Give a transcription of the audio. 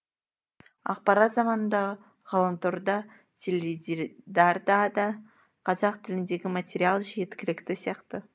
ақпарат заманында ғаламторда теледидарда да қазақ тіліндегі материал жеткілікті сияқты